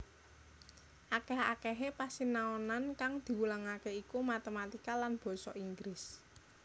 Akèh akèhé pasinaonan kang diwulangaké iku matématika lan basa Inggris